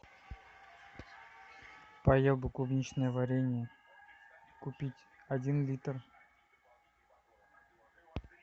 поел бы клубничное варенье купить один литр